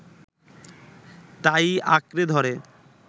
তা-ই আঁকড়ে ধরে